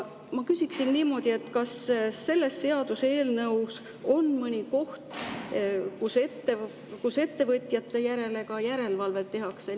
Ma küsiksin niimoodi: kas selles seaduseelnõus on mõni koht, kus ettevõtjate üle ka järelevalvet tehakse?